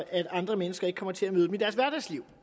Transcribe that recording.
at andre mennesker ikke kommer til at møde dem i deres hverdagsliv